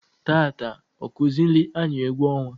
Taata ọkụzịịlị anyị egwu ọnwa.